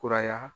Kuraya